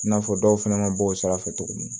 I n'a fɔ dɔw fɛnɛ ma bɔ o sira fɛ cogo min